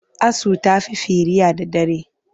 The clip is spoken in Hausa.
Asu ta fi firiya da dare.